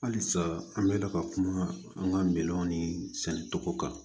Halisa an bɛ ka kuma an ka milɔnw ni sɛnɛ tɔgɔ kan